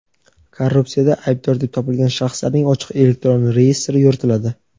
Korrupsiyada aybdor deb topilgan shaxslarning ochiq elektron reyestri yuritiladi.